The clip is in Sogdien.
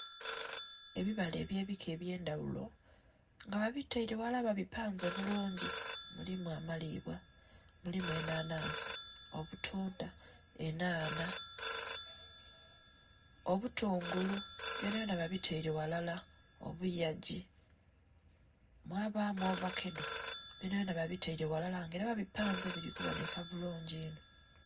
Ebibala ebye bika ebyendaghulo nga babitele ghalala babipanze bulungi mulimu amalibwa, mulimu enhanhansi, obutundha, enhanha, obutungulu byona byona babitere ghalala, obuyagi mwabamu ovakedo byona byona babitere ghalala nga era babipanze bili kibonheka bulungi inho.